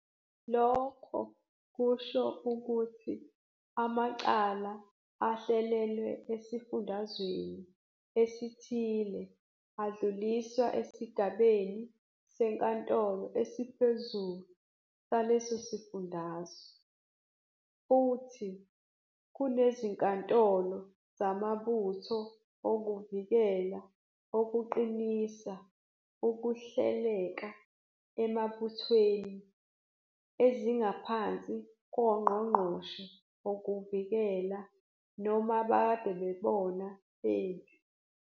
Lokho kusho ukuthi amacala ehlulelwe esifundazweni esithile adluliswa esigabeni seNkantolo esiPhezulu salesosifundazwe. Futhi, kunezinkantolo zamaButho okuVikela okuqinisa ukuhleleka emabuthweni ezingaphansi kwoNgqongqoshe wokuVikela naboMakadebona Bempi.